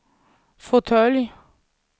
fåtölj